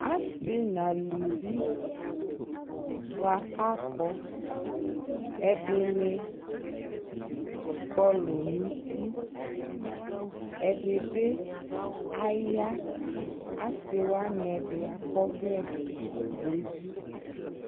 Asi nʋ alʋvi bʋa kʋ akɔ ɛdini kɔlʋ nʋ ʋti ɛdibi aya asi wani ɛdi akɔ ɔvlɛ nʋ evi